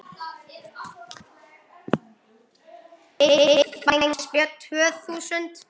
Kristján Már Unnarsson: Og hvenær byrjið þið svo á vorin?